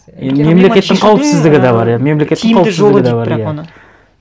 мемлекеттің қауіпсіздігі де бар ы мемлекеттің қауіпсіздігі де бар иә